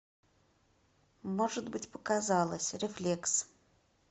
может быть показалось рефлекс